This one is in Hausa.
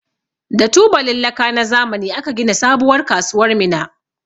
Da tubalin laka na zamani aka gina sabuwar kasuwar Minna.